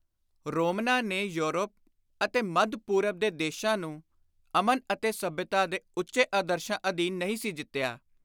ਰੋਮਨਾਂ ਨੇ ਯੌਰਪ ਅਤੇ ਮੱਧ-ਪੂਰਬ ਦੇ ਦੇਸ਼ਾਂ ਨੂੰ ਅਮਨ ਅਤੇ ਸੱਭਿਅਤਾ ਦੇ ਉੱਚੇ ਆਦਰਸ਼ਾਂ ਅਧੀਨ ਨਹੀਂ ਸੀ ਜਿੱਤਿਆ।